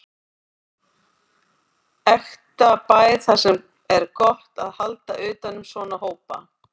Ekta bær þar sem er gott að halda utan um svona hópa.